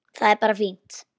Það er bara fínt.